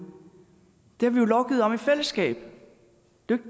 det skal